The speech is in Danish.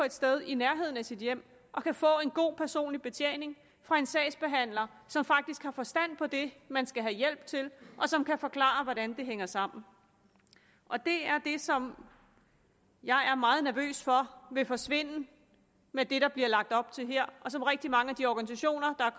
et sted i nærheden af sit hjem og kan få en god personlig betjening fra en sagsbehandler som faktisk har forstand på det man skal have hjælp til og som kan forklare hvordan det hænger sammen det er det som jeg er meget nervøs for vil forsvinde med det der bliver lagt op til her og som rigtig mange af de organisationer der er